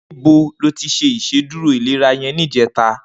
Nibó ló ti ṣé Ìṣédùró ilérà yèn nijètá?